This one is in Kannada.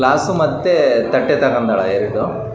ಮತ್ತು ತುಂಬಾ ಜನಗಳು ಮೀನನ್ನು ಅ: ತಗೋಳೋಕೆ ಬಂದಿದ್ದಾರೆ.